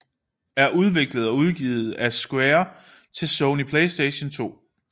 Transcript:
er udviklet og udgivet af Square til Sony PlayStation 2